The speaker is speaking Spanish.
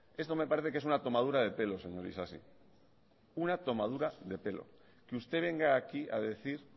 esto me parece que es una tomadura de pelo señor isasi una tomadura de pelo que usted venga aquí a decir